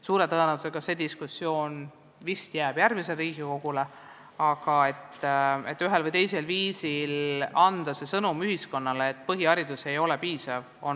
Suure tõenäosusega jääb see diskussioon järgmisele Riigikogule, aga on väga oluline anda ühiskonnale ühel või teisel viisil sõnum, et põhiharidus ei ole piisav.